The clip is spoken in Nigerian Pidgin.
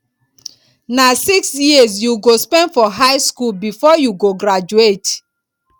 na six years you go spend for high skool before you go graduate